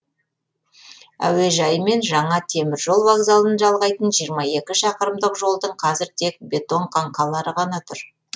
әуежай мен жаңа темір жол вокзалын жалғайтын жиырма екі шақырым жолдың қазір тек бетон қанқалары ғана тұр